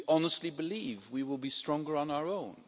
Do we honestly believe we will be stronger on our own?